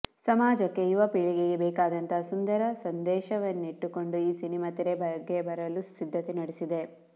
ಸಮಾಜಕ್ಕೆ ಯುವ ಪೀಳಿಗೆಗೆ ಬೇಕಾದಂತಹ ಸುಂದರ ಸಂದೇಶವನ್ನಿಟ್ಟುಕೊಂಡು ಈ ಸಿನಿಮಾ ತೆರೆಗೆ ಬರಲು ಸಿದ್ದತೆ ನಡೆಸಿದೆ